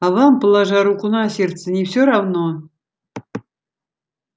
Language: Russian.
а вам положа руку на сердце не всё равно